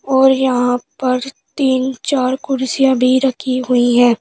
और यहां पर तीन चार कुर्सियां भी रखी हुई हैं।